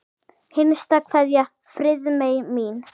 HINSTA KVEÐJA Friðmey mín.